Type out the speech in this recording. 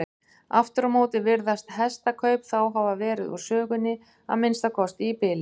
Aftur á móti virðast hestakaup þá hafa verið úr sögunni, að minnsta kosti í bili.